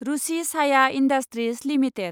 Ruchi Soya industries limited